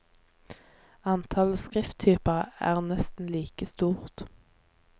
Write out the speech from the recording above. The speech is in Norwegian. Antallet skrifttyper er nesten like stort.